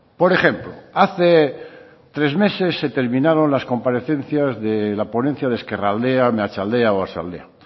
por ejemplo hace tres meses se terminaron las comparecencias de la ponencia de ezkerraldea meatzaldea oarsoaldea